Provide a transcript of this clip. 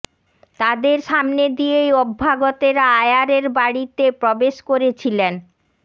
তাদের সামনে দিয়েই অভ্যাগতেরা আয়ারের বাড়িতে প্রবেশ করেছিলেন